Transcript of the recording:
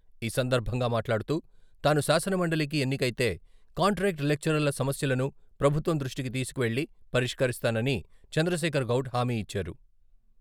ఈ సందర్భంగా మాట్లాడుతూ, తాను శాసనమండలికి ఎన్నికైతే కాంట్రాక్ట్ లెక్చరర్ల సమస్యలను ప్రభుత్వం దృష్టికి తీసుకువెళ్ళి పరిష్కరిస్తానని చంద్రశేఖర్ గౌడ్ హామీ ఇచ్చారు.